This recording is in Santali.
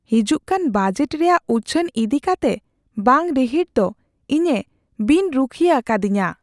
ᱦᱤᱡᱩᱜᱠᱟᱱ ᱵᱟᱡᱮᱴ ᱨᱮᱭᱟᱜ ᱩᱪᱷᱟᱹᱱ ᱤᱫᱤᱠᱟᱛᱮ ᱵᱟᱝ ᱨᱤᱦᱤᱴ ᱫᱚ ᱤᱧᱮ ᱵᱤᱱ ᱨᱩᱠᱷᱤᱭᱟᱹ ᱟᱠᱟᱫᱤᱧᱟ ᱾